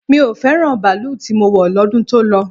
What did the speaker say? Mi ò fẹ́ràn baalú tí mo wọ̀ lọ́dún tó lọ.